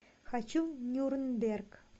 хочу в нюрнберг